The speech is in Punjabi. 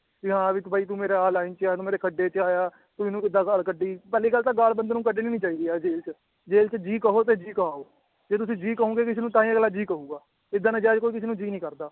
ਵੀ ਹਾਂ ਵੀ ਤੂੰ ਬਾਈ ਤੁੰ ਮੇਰਾ ਆਹ line ਚ ਆਂ, ਤੂੰ ਮੇਰੇ ਖੱਡੇ ਚ ਆਇਆ ਤੂੰ ਇਹਨੂੰ ਕਿੱਦਾਂ ਗਾਲ ਕੱਢੀ, ਪਹਿਲੀ ਗੱਲ ਤਾਂ ਗਾਲ ਬੰਦੇ ਨੂੰ ਕੱਢਣੀ ਨੀ ਚਾਹੀਦੀ ਯਾਰ ਜੇਲ੍ਹ ਚ ਜੇਲ੍ਹ ਚ ਜੀ ਕਹੋ ਤੇ ਜੀ ਕਹਾਓ, ਜੇ ਤੁਸੀਂ ਜੀ ਕਹੋਂਗੇ ਕਿਸੇ ਨੂੰ ਤਾਂਹੀ ਅਗਲਾ ਜੀ ਕਹੇਗਾ ਏਦਾਂ ਨਜਾਇਜ਼ ਕੋਈ ਕਿਸੇ ਨੂੰ ਜੀ ਨਹੀਂ ਕਰਦਾ।